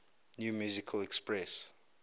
new musical express